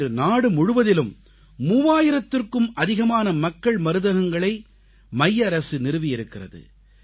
இன்று நாடு முழுவதிலும் 3000த்திற்கும் அதிகமான மக்கள் மருந்தகங்களை மைய அரசு நிறுவி இருக்கிறது